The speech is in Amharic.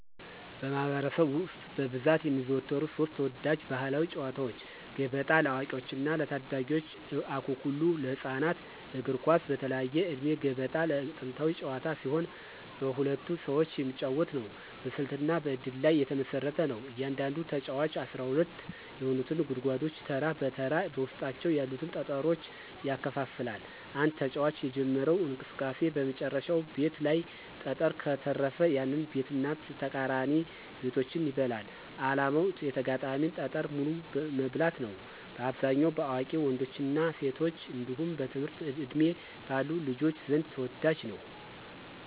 በማኅበረሰብ ውስጥ በብዛት የሚዘወተሩ ሦስት ተወዳጅ ባሕላዊ ጨዋታዎች፦ ገበጣ (ለአዋቂዎችና ለታዳጊዎች) ፣አኩኩሉ (ለህፃናት)፣ እግር ኳስ (በተለያየ ዕድሜ)። ገበጣ ጥንታዊ ጨዋታ ሲሆን በሁለት ሰዎች የሚጫወት ነው። በስልትና በእድል ላይ የተመሰረተ ነው። እያንዳንዱ ተጫዋች 12 የሆኑትን ጉድጓዶች ተራ በተራ በውስጣቸው ያሉትን ጠጠሮች ያከፋፍላል። አንድ ተጫዋች የጀመረው እንቅስቃሴ በመጨረሻው ቤት ላይ ጠጠር ከተረፈ፣ ያንን ቤትና ተቃራኒ ቤቶችን ይበላል። ዓላማው የተጋጣሚን ጠጠር በሙሉ መብላት ነው። በአብዛኛው በአዋቂ ወንዶችና ሴቶች እንዲሁም በትምህርት ዕድሜ ባሉ ልጆች ዘንድ ተወዳጅ ነው።